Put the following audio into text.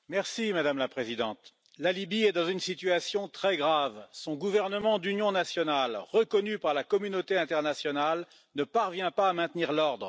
Madame la Présidente, la Libye est dans une situation très grave son gouvernement d'union nationale, reconnu par la communauté internationale, ne parvient pas à maintenir l'ordre.